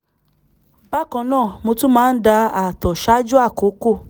bákan náà mo tún máa ń da ààtọ̀ ṣáájú àkókò